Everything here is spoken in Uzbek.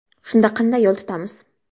Shunda qanday yo‘l tutamiz?